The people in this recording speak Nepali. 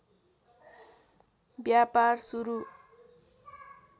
व्यापार सुरु